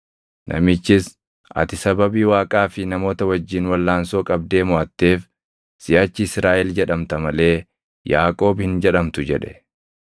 Namichis, “Ati sababii Waaqaa fi namoota wajjin walʼaansoo qabdee moʼatteef siʼachi Israaʼel jedhamta malee Yaaqoob hin jedhamtu” jedhe.